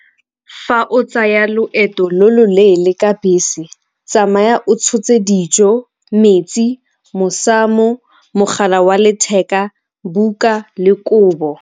Fa o tsaya loeto lo lo leele ka bese, tsamaya o tshotse dijo, metsi, mosamo, mogala wa letheka, buka le kobo.